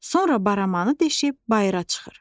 Sonra baramanı deşib bayıra çıxır.